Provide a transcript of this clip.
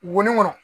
Wo ni ŋɔnɔ